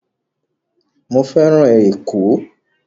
Mo fẹ́ràn Ẹ̀kọ́